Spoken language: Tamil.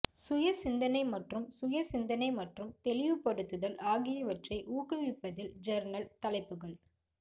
சுய சிந்தனை மற்றும் சுய சிந்தனை மற்றும் தெளிவுபடுத்துதல் ஆகியவற்றை ஊக்குவிப்பதில் ஜர்னல் தலைப்புகள்